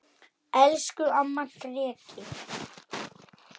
Skó og aftur skó.